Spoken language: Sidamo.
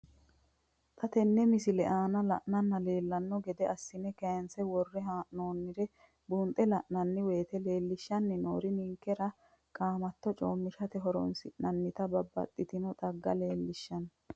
Xa tenne missile aana la'nara leellanno gede assine kayiinse worre hee'noonniri buunxe la'nanni woyiite leellishshanni noori ninkera qaamatto coommishate horoonsi'nannita babbaxxitino xagga leellishshanno.